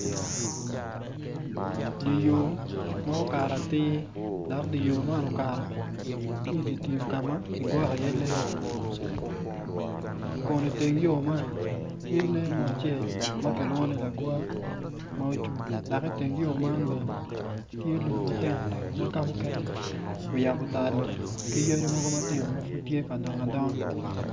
Dye yo ma okato atir dok dye yo man okato ki i dye tim ka ma kigwoko iye lee kun i teng yo man tye lee mo acel ma kilwongo ni lagwar ma ocung dok i teng yo man bene tye lum ma tino tino ma ka mukene bene oyabo talo ki yadi matino ma tye ka dongo adongoa